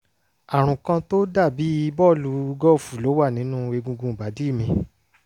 àrùn kan tó dà bí bí bọ́ọ̀lù gọ́ọ̀fù ló wà nínú egungun ìbàdí mi